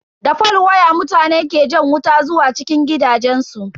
Da fol waya mutane ke jan wuta zuwa cikin gidajensu.